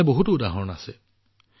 এনে বহুতো উদাহৰণ আছে